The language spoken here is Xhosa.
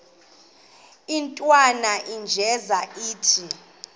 intwana unjeza ithi